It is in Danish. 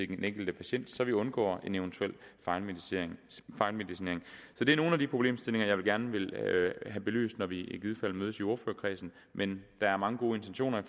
den enkelte patient så vi undgår en eventuel fejlmedicinering det er nogle af de problemstillinger jeg gerne vil have belyst når vi i givet fald mødes i ordførerkredsen men der er mange gode intentioner